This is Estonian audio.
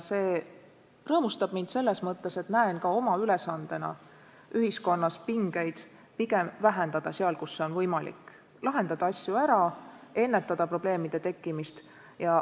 See rõõmustab mind selles mõttes, et ma pean ka oma ülesandeks ühiskonnas vähendada pingeid seal, kus on võimalik, lahendada asju ära, ennetada probleemide tekkimist.